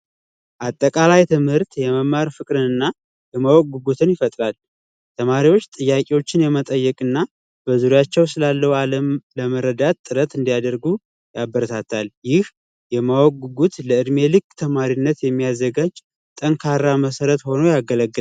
ባጠቃላይ ትምህርት የመማር ፍቅርንና ለመወጉትን ይፈጥራል ተማሪዎች መጠይቅና በዙሪያቸው ስላለው ዓለም ለመረዳት ጥረት እንዲያደርጉ ያበረታታል ይህ የማወቅ ጉጉት ለዕድሜ ልክ ተማሪነት የሚያዘጋጅ ጠንካራ መሰረት ሆኖ ያገለግል